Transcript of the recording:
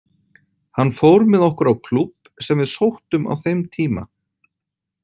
Hann fór með okkur á klúbb sem við sóttum á þeim tíma.